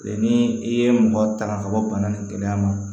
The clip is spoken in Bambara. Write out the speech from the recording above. Ni i ye mɔgɔ tanga ka bɔ bana nin gɛlɛya ma